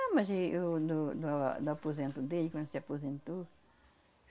Ah, mas e eu do do do aposento dele, quando se aposentou.